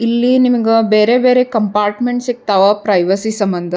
ಇಲ್ಲಿ ನಿಮಗ ಬೇರೆ ಬೇರೆ ಕಂಪಾರ್ಟ್ಮೆಂಟ್ ಸಿಗ್ತಾವ ಪ್ರೈವಸಿ ಸಮಂದ್ --